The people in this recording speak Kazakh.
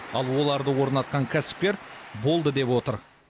ал оларды орнатқан кәсіпкер болды деп отыр